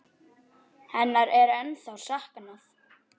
Hennar er ennþá saknað.